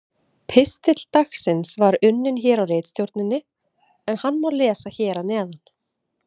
Pistill dagsins var unninn hér á ritstjórninni en hann má lesa hér að neðan: